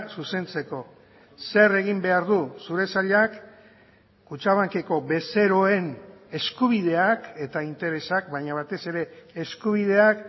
zuzentzeko zer egin behar du zure sailak kutxabankeko bezeroen eskubideak eta interesak baina batez ere eskubideak